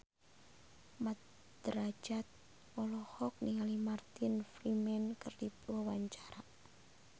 Mat Drajat olohok ningali Martin Freeman keur diwawancara